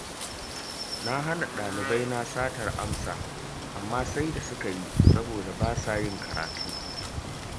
Na hana ɗalibaina satar amsa, amma sai da suka yi saboda ba sa yin karatu